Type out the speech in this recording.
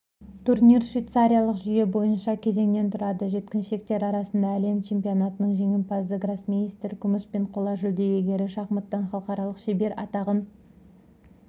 турнир швейцариялық жүйе бойынша кезеңнен тұрады жеткіншектер арасындағы әлем чемпионатының жеңімпазы гроссмейстер күміс пен қола жүлде иегерлері шахматтан халықаралық шебер атағын